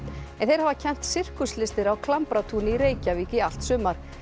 en þeir hafa kennt sirkuslistir á Klambratúni í Reykjavík í allt sumar